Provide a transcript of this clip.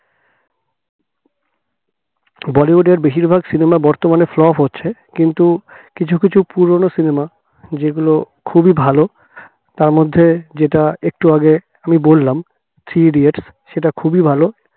বলিউডের বেশিরভাগ cinema বর্তমানে flop হচ্ছে কিন্তু কিছু কিছু পুরনো cinema যেগুলো খুবই ভালো তার মধ্যে যেটা একটু আগে আমি বললাম থ্রি ইডিয়েট সেটা খুবই ভালো